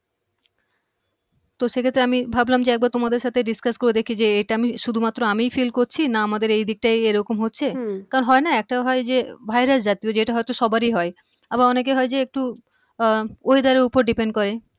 তো সেক্ষেত্রে আমি একবার ভাবলাম যে তোমার সাথে discuss করে দেখি যে এটা আমি শুধু মাত্র আমিই feel করছি না আমাদের এদিকটায় এরকম হচ্ছে হম কারণ হয়না একটা হয় যে ভাইরাস জ্বর যেটা হয়তো সবারই হয় আবার অনেকের হয় যে একটু আহ weather এর উপর depend করে